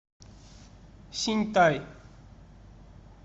синьтай